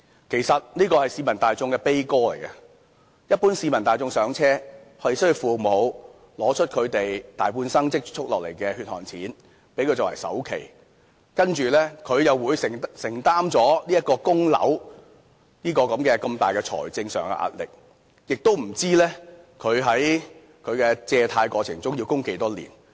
其實這是市民的悲歌，一般市民"上車"，是需要父母拿出他們大半生積蓄下來的血汗錢，給他們作為首期，接着他們又要承擔供樓這個如此大的財政上壓力，亦不知道他們的樓宇貸款要供多少年。